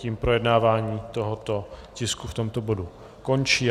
Tím projednávání tohoto tisku v tomto bodu končí.